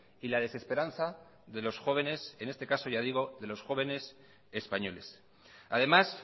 y la desesperanza de los jóvenes en este caso de los jóvenes españoles además